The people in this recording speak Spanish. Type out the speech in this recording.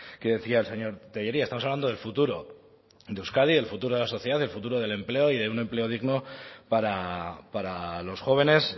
que decía el señor tellería estamos hablando del futuro de euskadi del futuro de la sociedad del futuro del empleo y de un empleo digno para los jóvenes